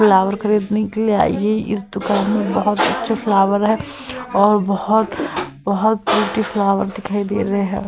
Flower खरीदने के लिए आई है। इस दुकान में बहोत अच्छी फ्लावर है और बहोत बहोत ब्यूटी फ्लावर दिखाई दे रहे है।